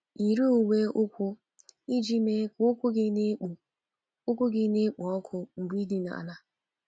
Yiri uwe ụkwụ iji mee ka ụkwụ gị na-ekpo ụkwụ gị na-ekpo ọkụ mgbe i dina ala.